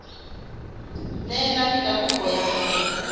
neelane ka kopo ya hao